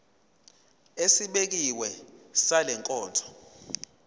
esibekiwe sale nkonzo